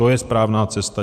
To je správná cesta.